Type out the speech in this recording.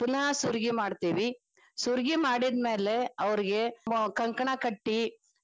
ಪುನ್ಹ ಸುರ್ಗಿ ಮಾಡ್ತೇವಿ ಸುರ್ಗಿ ಮಾಡಿದ್ಮ್ಯಾಲೆ ಅವ್ರಿಗೆ ಕಂಕಣ ಕಟ್ಟಿ.